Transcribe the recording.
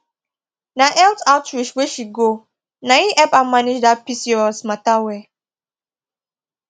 na health outreach wey she go na him help her manage that pcos matter well